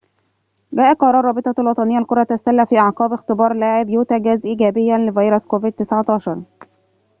جاء قرار رابطة الوطنية لكرة السلة في أعقاب اختبار لاعب يوتا جاز إيجابياً لفيروس كوفيد-19